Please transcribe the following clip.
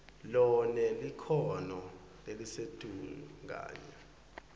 lonelikhono lelisetulu kanye